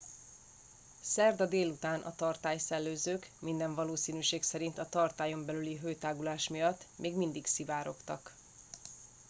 szerda délután a tartály szellőzők minden valószínűség szerint a tartályon belüli hőtágulás miatt még mindig szivárogtak